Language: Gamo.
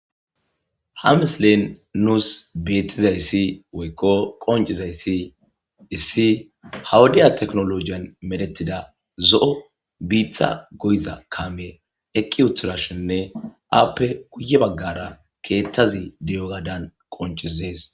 Ha misilen nuus beettizaysi woykko qonccizaysi issi ha wodya tekinoloogiyan medhettida lo7o biitta goyiza kaamey eqqi uttidashinne aappe guyye baggara keettazi de7ogadan qoncisees.